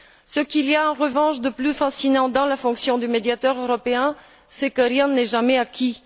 Ce qu'il y a, en revanche, de plus fascinant dans la fonction de médiateur européen, c'est que rien n'est jamais acquis.